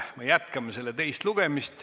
Me jätkame selle teist lugemist.